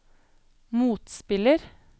motspiller